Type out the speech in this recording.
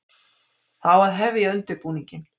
Það á að hefja undirbúninginn.